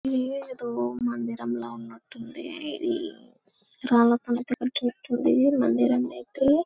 యేదో మందిరం లా ఉన్నట్టుంది ఇది రాళ్ల పలకల తో ఈ మందిరం అయితే.